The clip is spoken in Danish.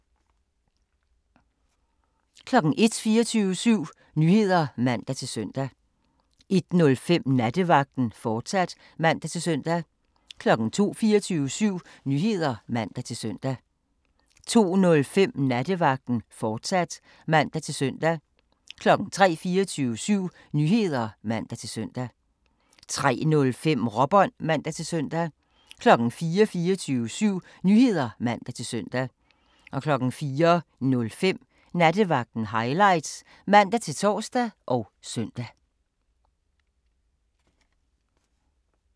01:00: 24syv Nyheder (man-søn) 01:05: Nattevagten, fortsat (man-søn) 02:00: 24syv Nyheder (man-søn) 02:05: Nattevagten, fortsat (man-søn) 03:00: 24syv Nyheder (man-søn) 03:05: Råbånd (man-søn) 04:00: 24syv Nyheder (man-søn) 04:05: Nattevagten Highlights (man-tor og søn)